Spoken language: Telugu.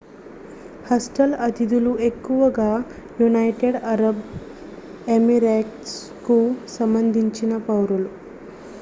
హాస్టల్ అతిథులు ఎక్కువగా యునైటెడ్ అరబ్ ఎమిరేట్స్కు సంబంధించిన పౌరులు